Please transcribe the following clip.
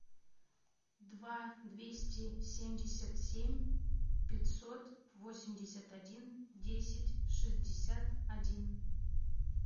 два двести семьдесят семь пятьсот восемьдесят один десять шестьдесят один